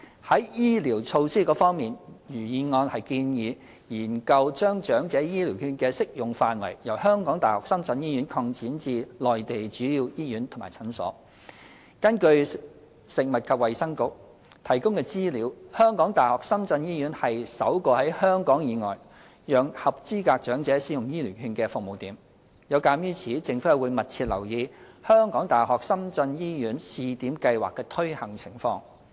在醫療措施方面，原議案建議研究將長者醫療券的適用範圍由香港大學深圳醫院擴展至內地主要醫院及診所。根據食物及衞生局提供的資料，香港大學深圳醫院是首個在香港以外讓合資格長者使用醫療券的服務點。有鑒於此，政府會密切留意香港大學深圳醫院試點計劃的推行情況。